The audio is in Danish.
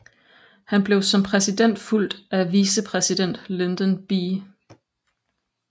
Han blev som præsident fulgt af vicepræsident Lyndon B